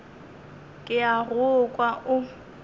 ke a go kwa o